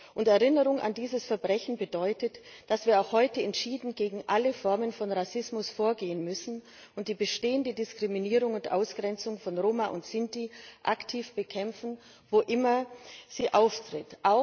Und Erinnerung an dieses Verbrechen bedeutet, dass wir auch heute entschieden gegen alle Formen von Rassismus vorgehen müssen und die bestehende Diskriminierung und Ausgrenzung von Roma und Sinti aktiv bekämpfen, wo immer sie auftritt.